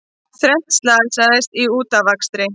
Þrennt slasaðist í útafakstri